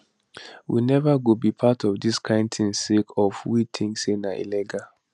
we neva go be part of dis kind tin sake of we tink say na illegal